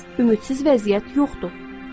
Ümidsiz vəziyyət yoxdur.